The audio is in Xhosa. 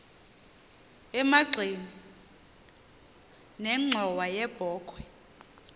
emagxeni nenxhowa yebokhwe